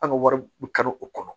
An ka wari bɛ kari o kɔnɔ